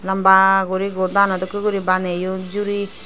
lamba guri godano dokhe guri baniyon juree.